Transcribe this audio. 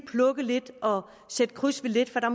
plukke lidt og sætte kryds ved lidt for der